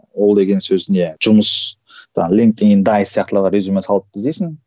ол деген сөз не жұмыс резюме салып іздейсің